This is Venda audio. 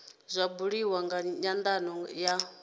zwa buliwa nga nyandano ya